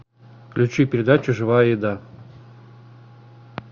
включи передачу живая еда